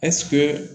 ɛsike